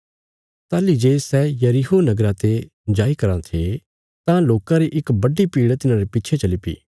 ताहली जे सै यरीहो नगरा ते निकल़ी रां थे तां लोकां री इक बड्डी भीड़ तिन्हारे पिच्छे चलीपी